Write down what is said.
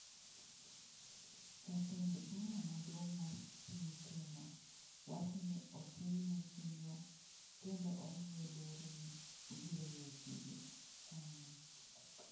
Jatend bura maduong’ mar piny Kenya wacho ni otimne chenro kendo omiye luoro ni obiro weyo tije, kanye?